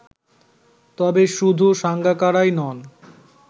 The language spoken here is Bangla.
তবে শুধু সাঙ্গাকারাই নন